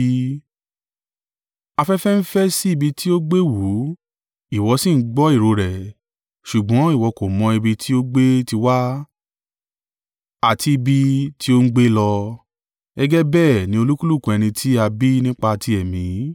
Afẹ́fẹ́ ń fẹ́ sí ibi tí ó gbé wù ú, ìwọ sì ń gbọ́ ìró rẹ̀, ṣùgbọ́n ìwọ kò mọ ibi tí ó gbé ti wá, àti ibi tí ó gbé ń lọ, gẹ́gẹ́ bẹ́ẹ̀ ni olúkúlùkù ẹni tí a bí nípa ti Ẹ̀mí.”